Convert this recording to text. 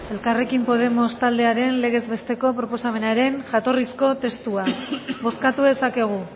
elkarrekin podemos taldearen legez besteko proposamenaren jatorrizko testua bozkatu dezakegu